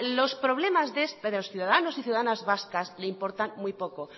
los problemas de los ciudadanos y ciudadanas vascas le importan muy poco